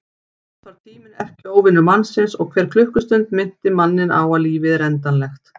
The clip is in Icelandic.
Jafnframt varð tíminn erkióvinur mannsins og hver klukkustund minnti manninn á að lífið er endanlegt.